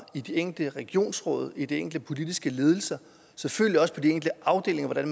i de enkelte regionsråd i de enkelte politiske ledelser selvfølgelig også på de enkelte afdelinger er